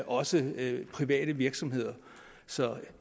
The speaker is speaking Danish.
også private virksomheder så